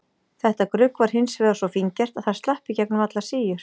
Þetta grugg var hins vegar svo fíngert að það slapp í gegnum allar síur.